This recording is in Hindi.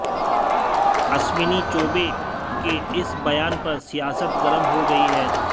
अश्विनी चौबे के इस बयान पर सियासत गर्म हो गई है